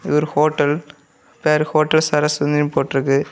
இது ஒரு ஹோட்டல் பேரு ஹோட்டல் சரண்சிட்டின்னு போட்டுருக்கு.